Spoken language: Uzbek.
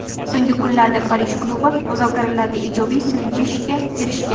So‘nggi kunlarda Parij klubi muzokaralarda ijobiy siljishga erishgan.